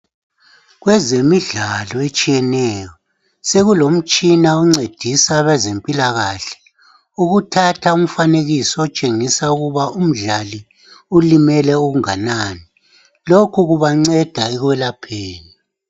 Kwezemidlalo etshiyeneyo sokulomtshina oncedisa abezempilakahle ukuthatha umfanekiso otshengisa ukuba umdlali ulimele okungakanani, lokhu kubancedisa ekwelapheni.